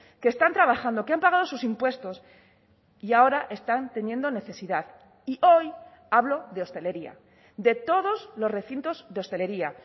que están trabajando que han pagado sus impuestos y ahora están teniendo necesidad y hoy hablo de hostelería de todos los recintos de hostelería